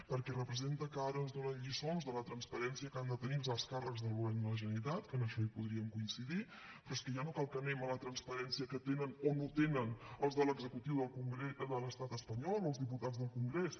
perquè representa que ara ens donen lliçons de la transparència que han de tenir els alts càrrecs del govern de la generalitat que en això hi podríem coincidir però és que ja no cal que anem a la transparència que tenen o no tenen els de l’executiu de l’estat espanyol o els diputats del congrés